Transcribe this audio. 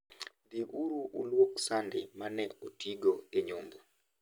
Dhi uru ulwok sande ma ne otigo e nyombo.